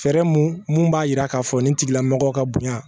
Fɛɛrɛ mun b'a yira k'a fɔ nin tigila mɔgɔ ka bonya